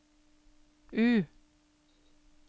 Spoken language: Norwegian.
U